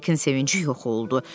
Hekin sevinci yox oldu.